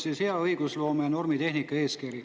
Selleks on hea õigusloome ja normitehnika eeskiri.